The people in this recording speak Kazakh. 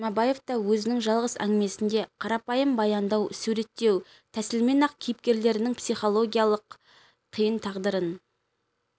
жұмабаев та өзінің жалғыз әңгімесінде қарапайым баяндау суреттеу тәсілімен-ақ кейіпкерлерінің психологиялық қиын тағдырын